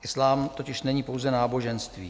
Islám totiž není pouze náboženství.